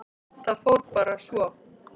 Það fór bara svo.